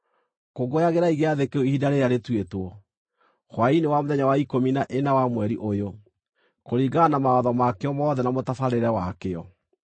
Kũngũyagĩrai gĩathĩ kĩu ihinda rĩrĩa rĩtuĩtwo, hwaĩ-inĩ wa mũthenya wa ikũmi na ĩna wa mweri ũyũ, kũringana na mawatho makĩo mothe na mũtabarĩre wakĩo.”